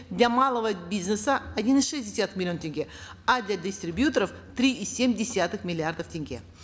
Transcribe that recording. для малого бизнеса один и шесть десятых миллиона тенге а для дистрибьюторов три и семь десятых миллиардов тенге